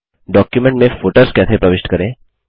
document में footers कैसे प्रविष्ट करें